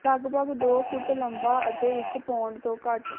ਲਗਭਗ ਦੋ ਫੁੱਟ ਲੰਬਾ ਅਤੇ ਇੱਕ ਪੌਂਡ ਤੋਂ ਘੱਟ